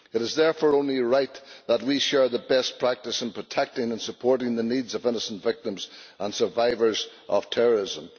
It is therefore only right that we share best practice in protecting and supporting the needs of innocent victims and survivors of terrorism.